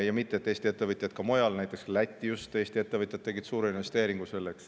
Ja mitte et Eesti ettevõtjaid ka mujal poleks: näiteks tegid Eesti ettevõtjad just Lätti selle jaoks suure investeeringu.